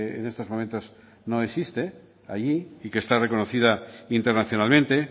en estos momentos no existe allí y que está reconocida internacionalmente